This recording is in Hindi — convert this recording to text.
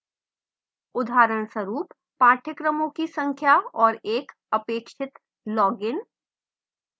उदाहरणस्वरूप: पाठ्यक्रमों की संख्या और एक साथ अपेक्षित logins